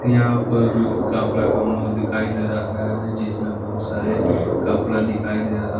यहां पर कपड़ा का माल दिखाई दे रहा है जिसमें बहुत सारे कपड़ा दिखाई दे रहा --